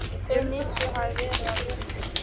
Hve mikið hafi verið af vörunni?